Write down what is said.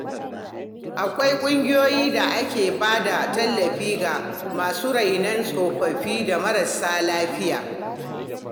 Akwai ƙungiyoyi da ke ba da tallafi ga masu rainon tsofaffi da marasa lafiya.